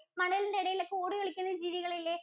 മണലിന്‍റെ എടയിലോക്കെ ഓടി കളിക്കുന്ന ജീവികള്‍ ഇല്ലേ?